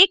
so